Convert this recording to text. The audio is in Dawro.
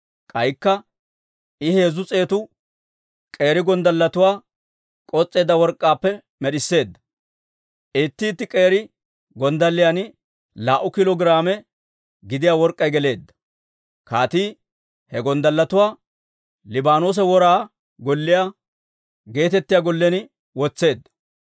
K'aykka I heezzu s'eetu k'eeri gonddalletuwaa k'os's'eedda work'k'aappe med'isseedda; itti itti k'eeri gonddalliyan laa"u kiilo giraame gidiyaa work'k'ay geleedda. Kaatii he gonddalletuwaa Liibaanoosa Wora Golliyaa geetettiyaa gollen wotseedda.